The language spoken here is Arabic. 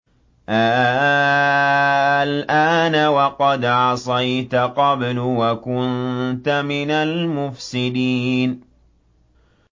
آلْآنَ وَقَدْ عَصَيْتَ قَبْلُ وَكُنتَ مِنَ الْمُفْسِدِينَ